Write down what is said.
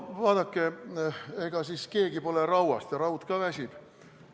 Vaadake, ega siis keegi ei ole rauast ja ka raud ka väsib.